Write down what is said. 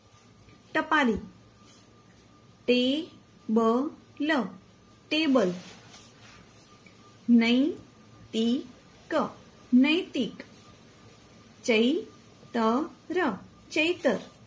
ટપાલી table table નૈતિક નૈતિક ચૈતર ચૈતર